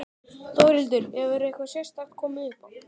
Þórhildur: Hefur eitthvað sérstakt komið upp á?